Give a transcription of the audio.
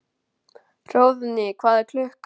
Hróðný, hvað er klukkan?